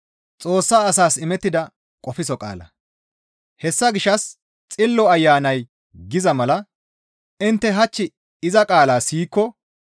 Hessa gishshas Xillo Ayanay giza mala, «Intte hach iza qaala siyikko